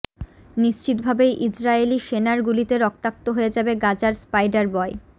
নিশ্চিতভাবেই ইজরায়েলি সেনার গুলিতে রক্তাক্ত হয়ে যাবে গাজার স্পাইডারবয়